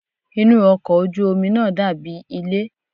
Inú ọkọ̀ ojú omi náà dàbí ilé.